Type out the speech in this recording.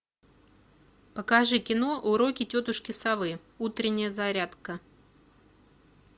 покажи кино уроки тетушки совы утренняя зарядка